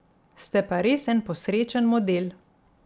Ste pa res en posrečen model.